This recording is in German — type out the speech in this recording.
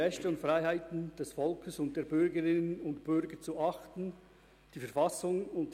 «Schaffung eines digitalen Dorfes im Berner Oberland»).